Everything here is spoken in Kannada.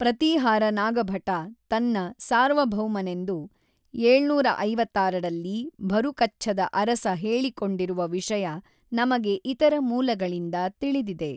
ಪ್ರತೀಹಾರ ನಾಗಭಟ ತನ್ನ ಸಾರ್ವಭೌಮನೆಂದು ಏಳುನೂರ ಐವತ್ತಾರರಲ್ಲಿ ಭರುಕಚ್ಛದ ಅರಸ ಹೇಳಿಕೊಂಡಿರುವ ವಿಷಯ ನಮಗೆ ಇತರ ಮೂಲಗಳಿಂದ ತಿಳಿದಿದೆ.